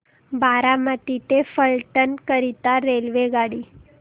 बारामती ते फलटण करीता रेल्वेगाडी